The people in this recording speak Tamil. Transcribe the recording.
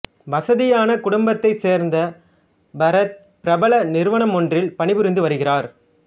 வசதியான குடும்பத்தைச் சேர்ந்த பரத் பிரபல நிறுவனமொன்றில் பணிபுரிந்து வருகிறார்